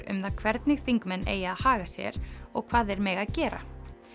um það hvernig þingmenn eigi að haga sér og hvað þeir mega gera